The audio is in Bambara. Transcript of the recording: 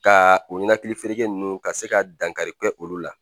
Ka o ɲɛnakilifereke ninnu ka se ka dankarikɛ olu la.